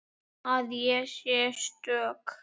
Að ég sé stök.